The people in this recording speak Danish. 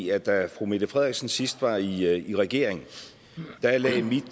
i at da fru mette frederiksen sidst var i i regering lagde mit